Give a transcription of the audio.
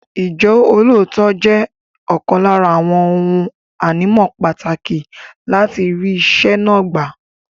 Ìjọ́lóòótọ́ jẹ́ ọ̀kan lára àwọn ohun ànímọ́ pàtàkì láti rí iṣẹ́ náà gbà.